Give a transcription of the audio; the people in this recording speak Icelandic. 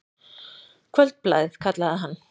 Kvöldblaðið, kallaði hann.